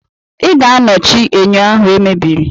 Ị ga-anọchi enyo ahụ e mebiri!